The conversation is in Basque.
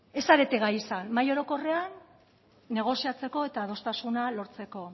ez zarete gai mahai orokorrean negoziatzeko eta adostasuna lortzeko